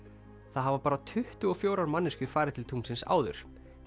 það hafa bara tuttugu og fjórar manneskjur farið til tunglsins áður